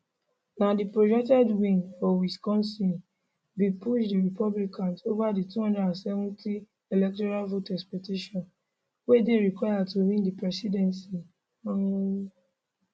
na di projected win for wisconsin bin push di republican ova di 270 electoral vote expectation wey dey required to win di presidency um